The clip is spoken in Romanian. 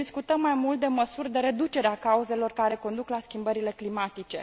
Deci, discutăm mai mult de măsuri de reducere a cauzelor care conduc la schimbările climatice.